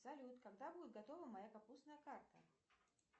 салют когда будет готова моя капустная карта